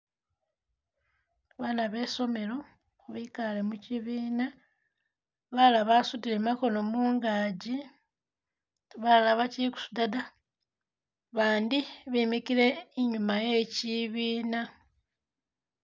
Bana besomelo bikale mukyibina balala basudile makono mungaji balala bakyili kusuda da bandi bemikile inyuma ye kyibina.